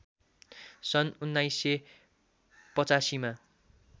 सन् १९८५ मा